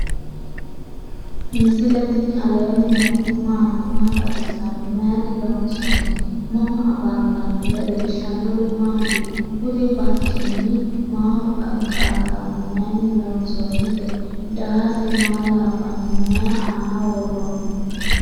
misile tini alenni nooti maati? maa xawissanno? Maayinni loonisoonni? mama affanttanno? leelishanori maati? kuri barcima maho xaqantano? mayini loosonite? daase maa labano? myi anna woroni?